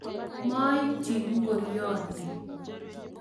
Monyiti ngoryoni